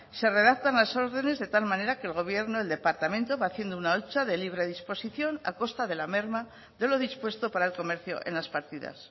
se redactan las órdenes de tal manera que el gobierno el departamento va haciendo una hucha de libre disposición a costa de la merma de lo dispuesto para el comercio en las partidas